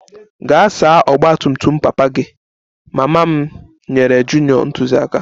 Gaa saa ọgba tum tum papa gị! Mama m nyere junior ntụziaka